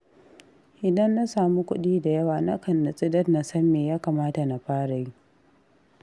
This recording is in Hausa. Idan na samu kuɗi da yawa, nakan nutsu dan na san me ya kamata na fara yi.